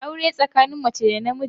Aure tsakanin mace da na miji ne.